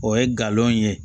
O ye galon ye